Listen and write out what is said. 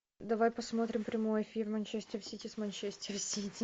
давай посмотрим прямой эфир манчестер сити с манчестер сити